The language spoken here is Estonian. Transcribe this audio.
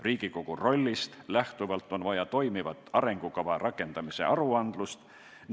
Riigikogu rollist lähtuvalt on vaja toimivat arengukava rakendamise aruandlust.